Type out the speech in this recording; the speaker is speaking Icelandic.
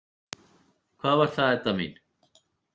Hvað var það, Edda mín?